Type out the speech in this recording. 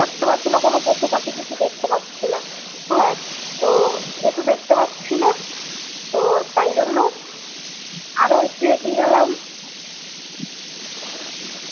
দেখতে পাচ্ছি না কোন পশুপাখি কিছু দেখতে পাচ্ছি না হ্যা তো যেহুতু দেখতে পাচ্ছি না তো তাই জন্য আরো একটু এগিয়ে গেলাম